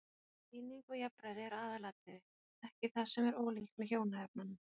Eining og jafnræði er aðalatriði, ekki það sem er ólíkt með hjónaefnunum.